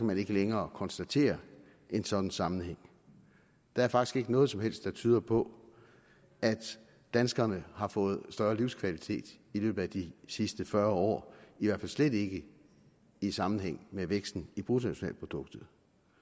man ikke længere konstatere en sådan sammenhæng der er faktisk ikke noget som helst der tyder på at danskerne har fået større livskvalitet i løbet af de sidste fyrre år i hvert fald slet ikke i sammenhæng med væksten i bruttonationalproduktet